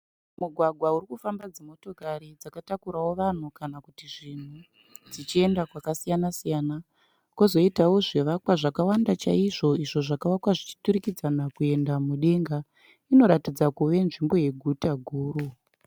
Mugwagwa urikufamba dzimotokari dzakatakuravo vanhu kana zvinhu dzichienda kwakasiyana-siyana. Kwozoitawo zvivakwa zvakawanda chaizvo izvo zvakavakwa zvichiturikidzana kuenda mudenga. Inoratidza kuva nzvimbo yeguta guru.